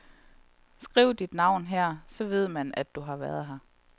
Skriv dit navn her, så ved man, du har været her.